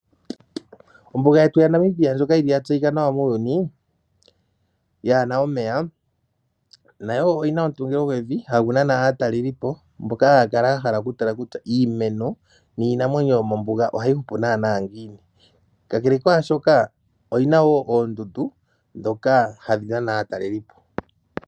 Ombuga yetu yaNamibia ndjoka yili ya tseyika nawa muuyuni, yaana omeya, nayo oyina omutungilo gwevi hagu nana aatalelipo, mboka haya kala ya hala okutala kutya iimeno niinamwenyo yomombuga ohayi hupu nanaa ngiini. Kakele kwaashoka, oyina wo oondundu, dhoka hadhi nana aatalelipo.